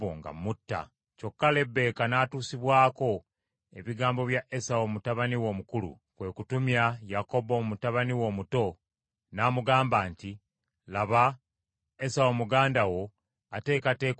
Kyokka Lebbeeka n’atuusibwako ebigambo bya Esawu mutabani we omukulu; kwe kutumya Yakobo mutabani we omuto, n’amugamba nti, “Laba, Esawu muganda wo ateekateeka okukutta.